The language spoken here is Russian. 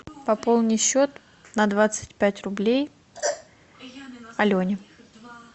пополни счет на двадцать пять рублей алене